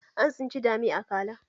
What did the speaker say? An tsinci dami a akala